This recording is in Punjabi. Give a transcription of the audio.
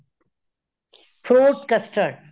fruit custard